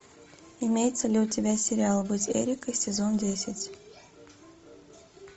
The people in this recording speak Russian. имеется ли у тебя сериал быть эрикой сезон десять